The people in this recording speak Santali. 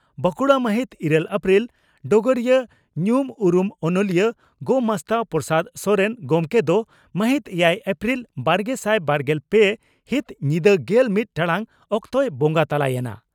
ᱵᱟᱝᱠᱩᱲᱟ ᱢᱟᱦᱤᱛ ᱤᱨᱟᱹᱞ ᱮᱯᱨᱤᱞ (ᱰᱚᱜᱚᱨᱤᱭᱟᱹ) ᱺ ᱧᱩᱢ ᱩᱨᱩᱢ ᱚᱱᱚᱞᱤᱭᱟᱹ ᱜᱚᱢᱟᱥᱛᱟ ᱯᱨᱚᱥᱟᱫᱽ ᱥᱚᱨᱮᱱ) ᱜᱚᱢᱠᱮ ᱫᱚ ᱢᱟᱦᱤᱛ ᱮᱭᱟᱭ ᱮᱯᱨᱤᱞ ᱵᱟᱨᱜᱮᱥᱟᱭ ᱵᱟᱨᱜᱮᱞ ᱯᱮ ᱦᱤᱛ ᱧᱤᱫᱟᱹ ᱜᱮᱞ ᱢᱤᱛ ᱴᱟᱬᱟᱝ ᱚᱠᱛᱮᱭ ᱵᱚᱸᱜᱟ ᱛᱟᱞᱟ ᱭᱮᱱᱟ ᱾